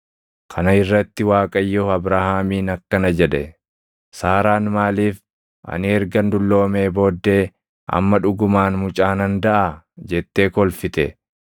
Kana irratti Waaqayyo Abrahaamiin akkana jedhe; “Saaraan maaliif, ‘Ani ergan dulloomee booddee amma dhugumaan mucaa nan daʼaa?’ jettee kolfite?